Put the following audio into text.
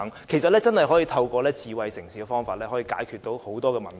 其實，真的可以透過智慧城市的方法解決很多問題。